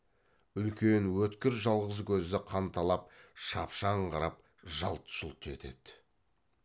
үлкен өткір жалғыз көзі қанталап шапшаң қарап жалт жұлт етеді